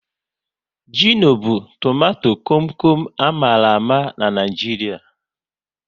Gịno bụ tomato kom kom a mara ama n'Naijiria